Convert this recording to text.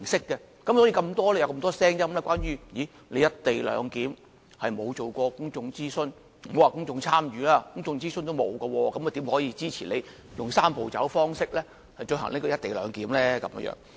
所以，這樣才引致眾多聲音說關於"一地兩檢"並沒有進行公眾諮詢，也不要說公眾參與了，連公眾諮詢也沒有，怎可以支持政府用"三步走"方式推行"一地兩檢"呢？